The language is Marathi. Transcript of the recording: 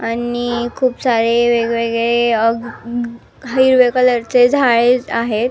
आणि खुप सारे वेगवेगळे ग अ ख हिरव्या कलर चे झाळे आहेत.